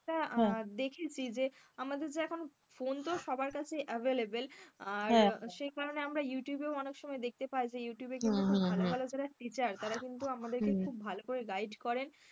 দেখেছি যে আমাদের যে এখন ফোন তো সবার কাছে available আর সে কারণে আমরা ইউটিউবে অনেক সময় দেখতে পায় যে ইউটিউবে কি বলতো ভালো ভালো যারা টিচার তারা কিন্তু আমাদেরকে খুব হলো করে guide করেন,